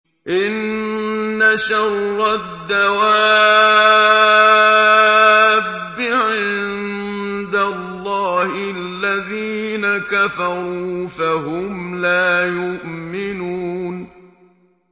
إِنَّ شَرَّ الدَّوَابِّ عِندَ اللَّهِ الَّذِينَ كَفَرُوا فَهُمْ لَا يُؤْمِنُونَ